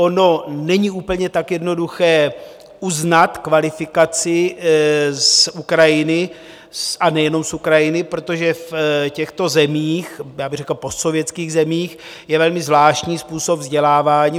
Ono není úplně tak jednoduché uznat kvalifikaci z Ukrajiny, a nejenom z Ukrajiny, protože v těchto zemích - já bych řekl postsovětských zemích - je velmi zvláštní způsob vzdělávání.